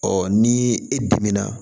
Ɔ ni e dimina